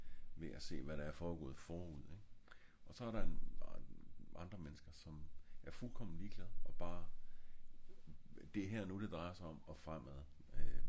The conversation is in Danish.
ved at se hvad der er foregået forud ik? og så er der andre mennesker der er fuldkom ligeglad og bare det er her og nu det drejer sig om og fremmedad øh